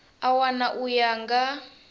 a wana u ya nga